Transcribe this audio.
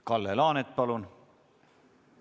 Kalle Laanet, palun!